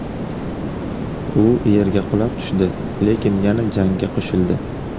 U yerga qulab tushdi, lekin yana jangga qo‘shildi.